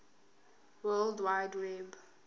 world wide web